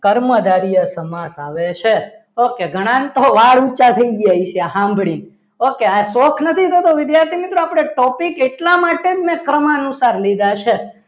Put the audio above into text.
કર્મધારય સમાસ આવે છે okay ઘણાને તો વાળ ઊંચા થઈ ગયા હશે સાંભળીને okay આ શોખ નથી થતો વિદ્યાર્થી મિત્રો આપણે ટોપી એટલા માટે ક્રમ અનુસાર લીધા છે.